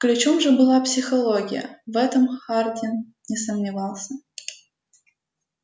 ключом же была психология в этом хардин не сомневался